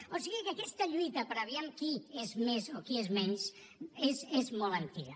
o sigui que aquesta lluita per aviam qui és més o qui és menys és molt antiga